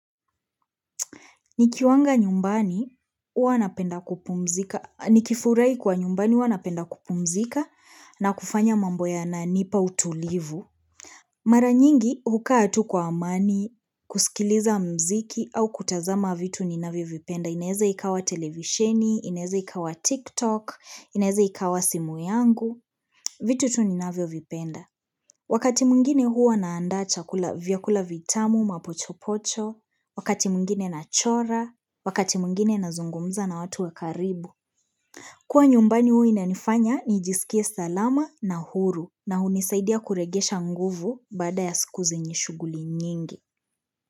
Nikiwanga nyumbani, hua napenda kupumzika, nikifurahi kuwa nyumbani, hua napenda kupumzika na kufanya mambo yananipa utulivu. Mara nyingi, hukaa tu kwa amani, kusikiliza mziki au kutazama vitu ninavyovipenda. Inaeza ikawa televisheni, inaezea ikawa tiktok, inaeza ikawa simu yangu, vitu tu ninavyovipenda. Wakati mwingine huwa naanda chakula, vyakula vitamu mapochopocho, wakati mwingine nachora, wakati mwingine nazungumza na watu wa karibu. Kuwa nyumbani hua inanifanya nijisikie salama na huru na hunisaidia kuregesha nguvu baada ya siku zenye shuguli nyingi.